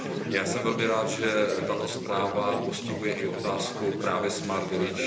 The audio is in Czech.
Já jsem velmi rád, že tato zpráva postihuje i otázku právě smart village.